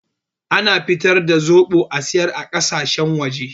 Ana fitar da zoɓo a siyar a ƙasashen waje